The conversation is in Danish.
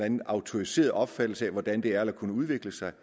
en autoriseret opfattelse af hvordan det er eller kunne udvikle sig